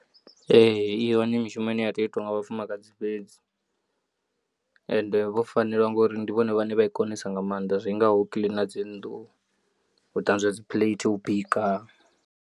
Ee i hone mishumo ine ya tea u itiwa nga vhafumakadzi fhedzi ende vho fanela ngori ndi vhone vhane vha i konesa nga maanḓa zwingaho u kiḽina dzi nnḓu, u ṱanzwa dzi phuleithi, u bika.